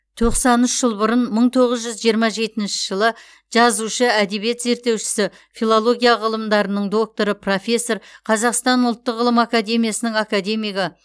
тоқсан үш жыл бұрын мың тоғыз жүз жиырма жетінші жылы жазушы әдебиет зерттеушісі филология ғылымдарының докторы профессор қазақстан ұлттық ғылым академиясының академигі